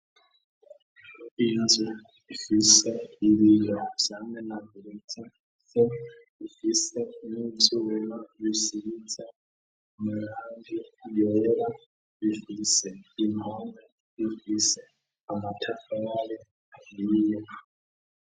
inzu ifise 'ibiga byane na birita se ifise nitsubero bisibitse nu kandi yoyera bifiise ima bifise amatafabye niyiyo